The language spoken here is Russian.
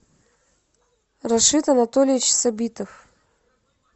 рашид анатольевич сабитов